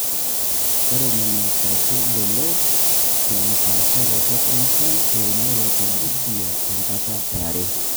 ore HSD naa keitodolu te mpaasharoto enchan teunore te busia te nkata e are